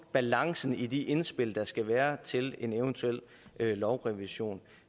balancen i de indspil der skal være til en eventuel lovrevision